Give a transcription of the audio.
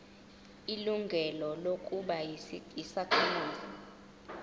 ilungelo lokuba yisakhamuzi